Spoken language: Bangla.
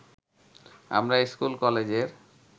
আমরা স্কুল-কলেজের